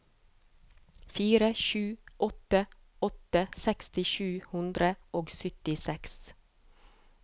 fire sju åtte åtte seksti sju hundre og syttiseks